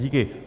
Díky.